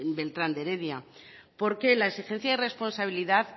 beltrán de heredia porque la exigencia de responsabilidad